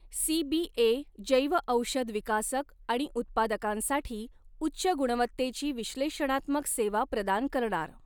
CBA जैवऔषध विकासक आणि उत्पादकांसाठी उच्च गुणवत्तेची विश्लेषणात्मक सेवा प्रदान करणार